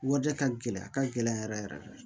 Warijɛ ka gɛlɛn a ka gɛlɛn yɛrɛ yɛrɛ yɛrɛ de